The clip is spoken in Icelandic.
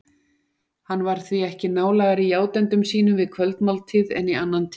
Hann var því ekki nálægari játendum sínum við kvöldmáltíð en í annan tíma.